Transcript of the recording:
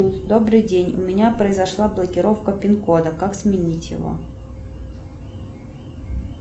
добрый день у меня произошла блокировка пин кода как сменить его